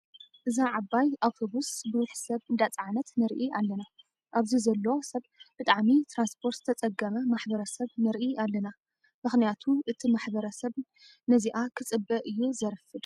እዛ ዓባይ ኣቡተቡዝ ቡዙሕ ሰብ እንዳፀዓነት ንርኢ ኣለና። ኣብዚ ዘሎ ሰብ ብጣዕሚ ትራንስፐት ዝተፀገመ ማሕበረሰብ ንርኢ ኣለና። ምክንያቲ እቲ ማሕበረሰን ነዚኣ ክፅበ እዩ ዘርፍድ።